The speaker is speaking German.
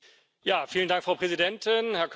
Frau Präsidentin, Herr Kommissar!